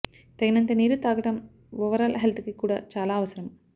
తగినంత నీరు తాగడం ఓవరాల్ హెల్త్ కి కూడా చలా అవసరం